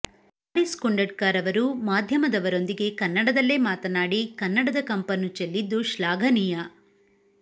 ಹಾರಿಸ್ ಕುಂಡಡ್ಕರವರು ಮಾಧ್ಯಮದವರೊಂದಿಗೆ ಕನ್ನಡದಲ್ಲೇ ಮಾತನಾಡಿ ಕನ್ನಡದ ಕಂಪನ್ನು ಚೆಲ್ಲಿದ್ದು ಶ್ಲಾಘನೀಯ